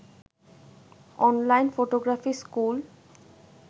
online photography school